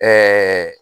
Ɛɛ